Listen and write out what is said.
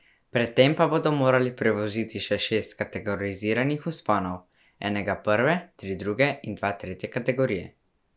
Pred tem pa bodo morali prevoziti še šest kategoriziranih vzponov, enega prve, tri druge in dva tretje kategorije.